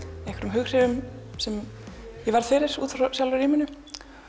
hughrifum sem ég verð fyrir út frá sjálfu rýminu